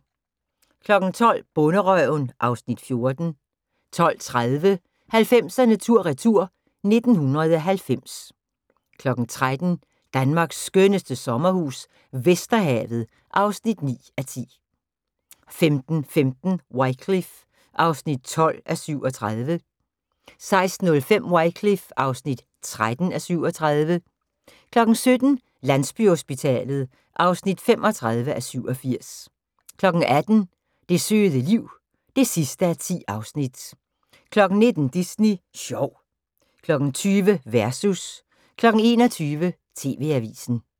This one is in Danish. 12:00: Bonderøven (Afs. 14) 12:30: 90'erne tur retur: 1990 13:00: Danmarks skønneste sommerhus - Vesterhavet (9:10) 15:15: Wycliffe (12:37) 16:05: Wycliffe (13:37) 17:00: Landsbyhospitalet (35:87) 18:00: Det søde liv (10:10) 19:00: Disney sjov 20:00: Versus 21:00: TV-avisen